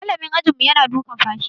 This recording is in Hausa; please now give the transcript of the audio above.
Malamin ajinmu yana dukan fashi.